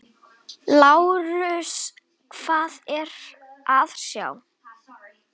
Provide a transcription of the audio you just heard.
LÁRUS: Hvað er að sjá?